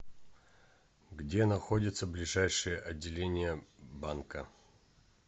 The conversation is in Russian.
где находится ближайшее отделение банка